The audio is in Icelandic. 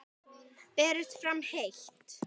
Berist fram heitt.